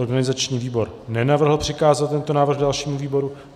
Organizační výbor nenavrhl přikázat tento návrh dalšímu výboru.